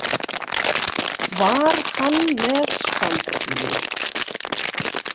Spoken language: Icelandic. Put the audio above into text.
Var hann með standpínu?